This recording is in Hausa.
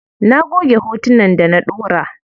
Na goge hotunan da na ɗaura.